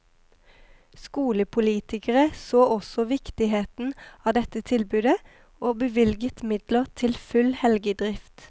Skolepolitikere så også viktigheten av dette tilbudet, og bevilget midler til full helgedrift.